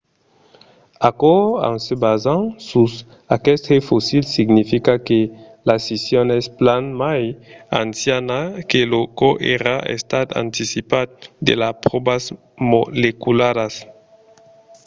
aquò en se basant sus aqueste fossil significa que la scission es plan mai anciana que çò qu'èra estat anticipat de las pròvas molecularas